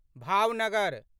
Bhavnagar